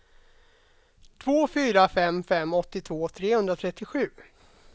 två fyra fem fem åttiotvå trehundratrettiosju